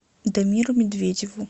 дамиру медведеву